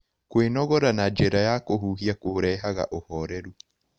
Kwĩnogora na njĩra ya kũhũhĩa kũrehaga ũhorerũ